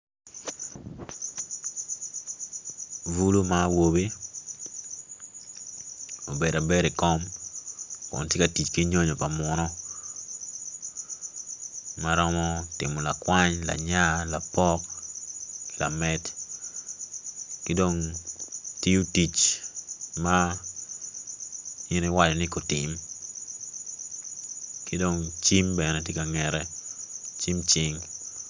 Bulu ma awobi obedo abeda i kom kun tye ka tic ki nyonyo pa munu ma romo timo lakwany lanya lapok lamed ki dong tiyo tic ma in iwaco ni gutim ki dong cim bene tye ka ngete cim cing.